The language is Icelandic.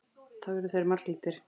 Þá urðu þeir marglitir.